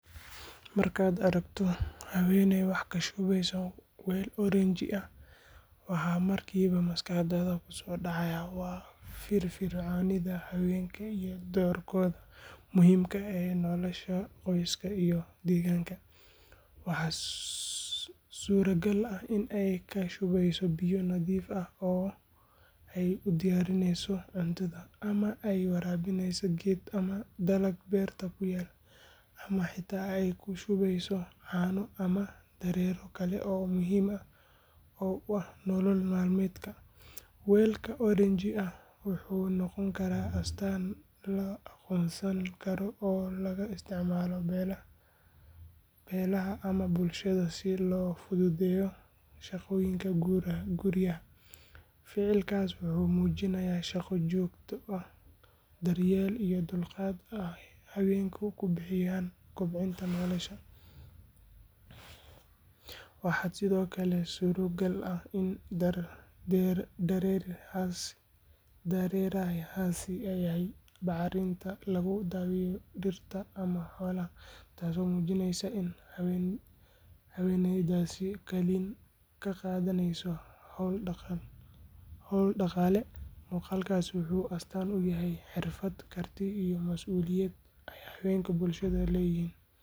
Markaad aragto haweeney wax ka shubeysa weel oranji ah, waxa markiiba maskaxdaada ku soo dhacaya waa firfircoonida haweenka iyo doorkooda muhiimka ah ee nolosha qoyska iyo deegaanka. Waxaa suuragal ah in ay ka shubeyso biyo nadiif ah oo ay u diyaarineyso cuntada, ama ay waraabinayso geed ama dalag beerta ku yaal, ama xitaa ay ku shubayso caano ama dareere kale oo muhiim u ah nolol maalmeedka. Weelka oranji ah wuxuu noqon karaa astaan la aqoonsan karo oo laga isticmaalo beelaha ama bulshada si loo fududeeyo shaqooyinka guryaha. Ficilkaas wuxuu muujinayaa shaqo joogto ah, daryeel, iyo dulqaad ay haweenku ku bixinayaan kobcinta nolosha. Waxaa sidoo kale suuragal ah in dareerahaasi yahay bacriminta lagu daaweeyo dhirta ama xoolaha, taasoo muujineysa in haweeneydaasi kaalin ka qaadaneyso hawlo dhaqaale. Muuqaalkaas wuxuu astaan u yahay xirfad, karti iyo mas’uuliyad ay haweenka bulshada ka leeyihiin.